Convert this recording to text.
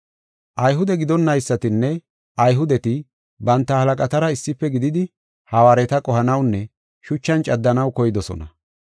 Ayhude gidonaysatinne Ayhudeti banta halaqatara issife gididi hawaareta qohanawunne shuchan caddanaw koydosona.